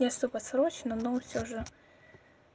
я с тобой срочно но всё же